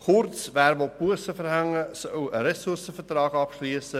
Kurz: Wer Bussen verhängen will, soll einen Ressourcenvertrag abschliessen.